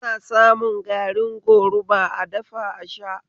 Ana samun garin goruba a dafa a sha